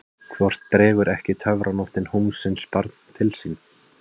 Hvort dregur ekki töfranóttin húmsins barn til sín?